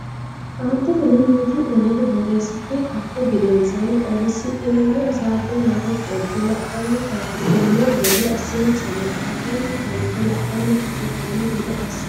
Aanteteno mimmiti ne ledo borreessite ka u gedensaanni xaadisidhinanni hasaabbe marro qolte la anni taashshidhanno gede assinsa maxaafansa fante la anni fushshitanno gede assinsa.